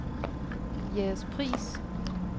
Jægerspris